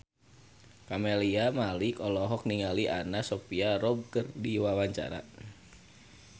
Camelia Malik olohok ningali Anna Sophia Robb keur diwawancara